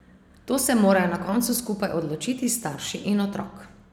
To se morajo na koncu skupaj odločiti starši in otrok.